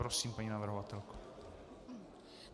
Prosím, paní navrhovatelko.